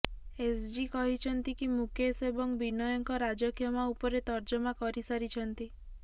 SG କହିଛନ୍ତି କି ମୁକେଶ ଏବଂ ବିନୟଙ୍କ ରାଜକ୍ଷମା ଉପରେ ତର୍ଜମା କରି ସାରିଛନ୍ତି